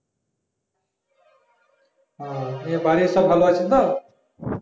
ও নিয়ে বাড়ির সব ভালো আছে তো